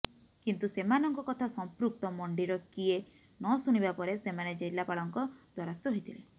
କିନ୍ତୁ ସେମାନଙ୍କ କଥା ସଂପୃକ୍ତ ମଣ୍ଡିର କିଏ ନସୁଣିବାପରେ ସେମାନେ ଜିଲ୍ଲାପାଳଙ୍କ ଦ୍ବାରସ୍ଥ ହୋଇଥିଲେ